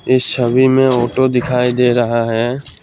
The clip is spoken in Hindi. इस छवि में ऑटो दिखाई दे रहा है।